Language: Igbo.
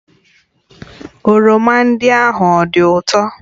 oroma ndị ahụ ọ dị ụtọ?